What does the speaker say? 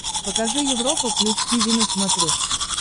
покажи европа плюс тиви на смотрешке